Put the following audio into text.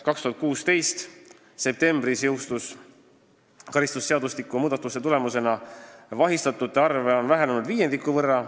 2016. aasta septembris jõustunud karistusseadustiku muudatuste tulemusena on vahistatute arv vähenenud viiendiku võrra.